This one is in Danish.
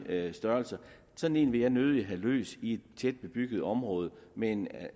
af de størrelser sådan en ville jeg nødig have løs i et tæt bebygget område med en